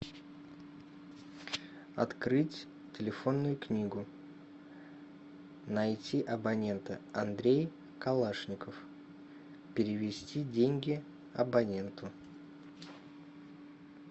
открыть телефонную книгу найти абонента андрей калашников перевести деньги абоненту